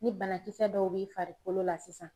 Ni banakisɛ dɔw b'i farikolo la sisan